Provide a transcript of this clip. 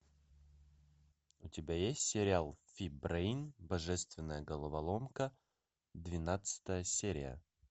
у тебя есть сериал фи брейн божественная головоломка двенадцатая серия